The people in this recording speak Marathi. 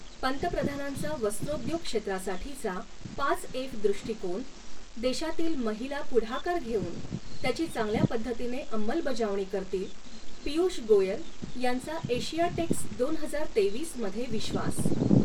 पंतप्रधानांचा वस्त्रोद्योग क्षेत्रासाठीचा पाच एफ दृष्टीकोन, देशातील महिला पुढाकार घेूवन त्याची चांगल्या पद्धतीने अंमलबजावणी करतील, पीयूष गोयल यांचा एशियाटेक्स दोन हजार तेवीस मध्ये विश्वास